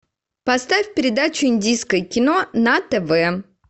поставь передачу индийское кино на тв